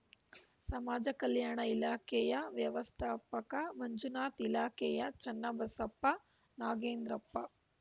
ಸಮಾಜ ಕಲ್ಯಾಣ ಇಲಾಖೆಯ ವ್ಯವಸ್ಥಾಪಕ ಮಂಜುನಾಥ್‌ ಇಲಾಖೆಯ ಚನ್ನಬಸಪ್ಪ ನಾಗೇಂದ್ರಪ್ಪ